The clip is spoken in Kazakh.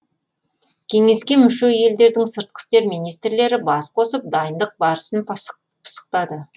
кеңеске мүше елдердің сыртқы істер министрлері бас қосып дайындық барысын пысықтады